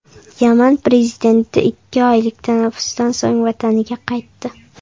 Yaman prezidenti ikki oylik tanaffusdan so‘ng vataniga qaytdi.